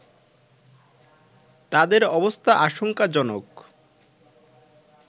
তাদের অবস্থা আশংকাজনক